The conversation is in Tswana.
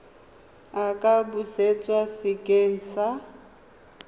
a ka busetswa sekeng sa